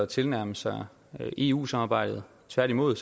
tilnærme sig eu samarbejdet tværtimod